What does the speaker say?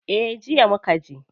Eh, jiya mukaje.